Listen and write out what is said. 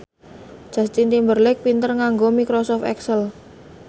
Justin Timberlake pinter nganggo microsoft excel